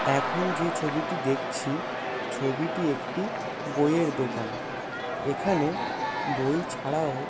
এখন যে ছবিটি দেখছি ছবিটি একটি বইয়ের দোকান | এখানে বই ছাড়াও --